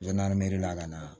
Don n'a nameri la ka na